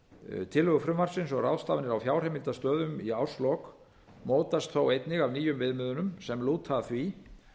áður tillögur frumvarpsins um ráðstafanir á fjárheimildastöðum í árslok mótast þó einnig af nýjum viðmiðum sem lúta að því